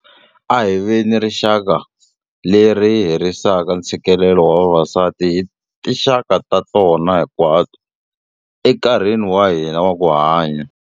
A hi veni rixaka leri herisaka ntshikelelo wa vavasati hi tinxaka ta tona hinkwato, enkarhini wa hina wa ku hanya.